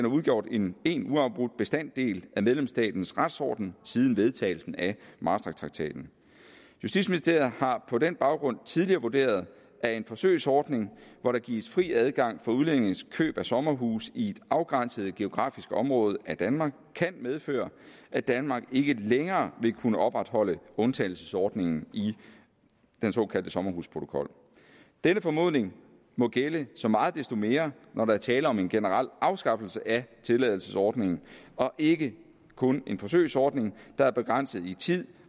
udgjort en en uafbrudt bestanddel af medlemsstatens retsorden siden vedtagelsen af maastrichttraktaten justitsministeriet har på den baggrund tidligere vurderet at en forsøgsordning hvor der gives fri adgang for udlændinges køb af sommerhuse i et afgrænset geografisk område af danmark kan medføre at danmark ikke længere vil kunne opretholde undtagelsesordningen i den såkaldte sommerhusprotokol denne formodning må gælde så meget desto mere når der er tale om en generel afskaffelse af tilladelsesordningen og ikke kun en forsøgsordning der er begrænset i tid